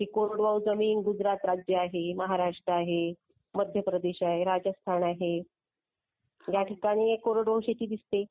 मगाशी कोरडवाहू जमीन गुजरात राज्यात. चला तर राज्य आहे महाराष्ट्र आहे. आहे राजस्थान आहे. मी कोरडवाहू शेती दिसते.